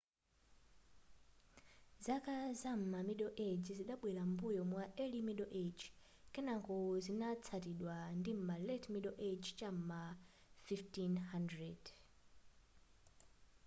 zaka zam'ma middle age zidabwera m'mbuyo mwa early middle age kenako zinatsatidwa ndim'ma late middle age cham'ma 1500